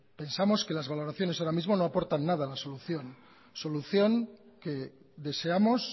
pensamos que las valoraciones ahora mismo no aportan nada a la solución solución que deseamos